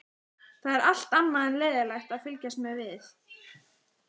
Það er allt annað en leiðinlegt að fylgjast með við